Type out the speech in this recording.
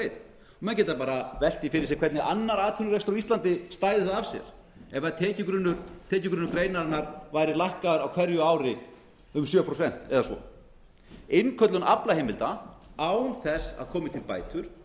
leið menn geta bara velt því fyrir sér hvernig annar atvinnurekstur á íslandi stæði það af sér ef tekjugrunnur greinarinnar væri lækkaður á hverju ári um sjö prósent eða svo innköllun aflaheimilda án þessa á komi til bætur